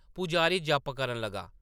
पुजारी जप करन लगा।